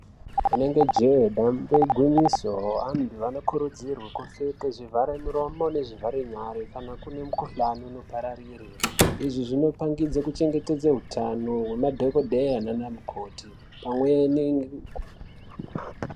Rinenge jee dambe igwinyiso, anhu anokurudzirwe kupfeke zvivhare miromo nezvivhare nyara kana kune mikhuhlani inopararire. Izvi zvinopangidze kuchengetedze utano hwemadhokodheya nana mukoti pamwe ne.